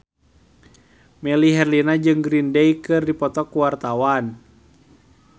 Melly Herlina jeung Green Day keur dipoto ku wartawan